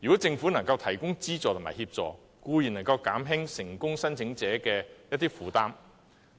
政府如能提供資助和協助，固然能減輕成功申請者的負擔。